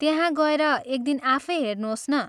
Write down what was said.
त्यहाँ गएर एक दिन आफै हेर्नोस् न।